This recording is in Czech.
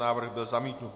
Návrh byl zamítnut.